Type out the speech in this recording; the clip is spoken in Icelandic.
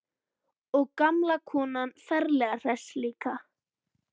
Og gamla konan ferlega hress líka.